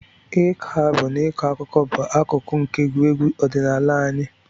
Ịkọ abụ na ịkọ akụkọ bụ akụkụ nke egwuregwu ọdịnala anyị.